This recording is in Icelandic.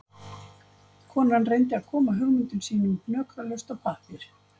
Konan reyndi að koma hugmyndum sínum hnökralaust á pappír